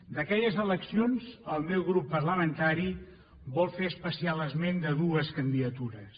d’aquelles eleccions el meu grup parlamentari vol fer especial esment de dues candidatures